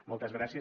moltes gràcies